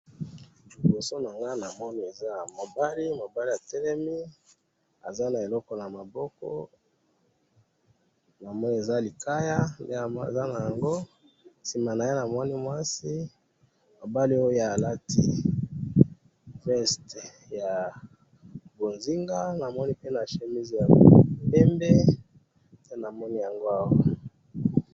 liboso nanga na moni eza mobali mobali a telemi aza na eloko na maboko na moni eza likaya aza nango sima naye na moni mwasi mobali oyo a lati vessete ya bonzinga na moni pe na chemise ya pembe nde na moni yango awa